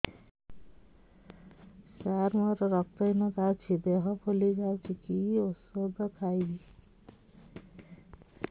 ସାର ମୋର ରକ୍ତ ହିନତା ଅଛି ଦେହ ଫୁଲି ଯାଉଛି କି ଓଷଦ ଖାଇବି